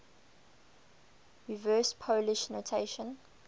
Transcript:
reverse polish notation